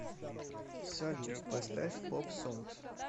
салют поставь поп сонгс